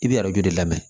I bɛ arajo de lamɛn